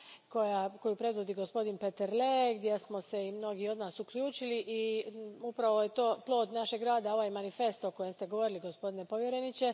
koju predvodi gospodi Peterle i u koju su se mnogi od nas uključili i upravo je plod našeg rada ovaj manifest o kojem ste govorili, gospodine povjereniče.